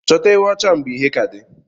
Chọta ewụ ocha mgbe ìhè kà di.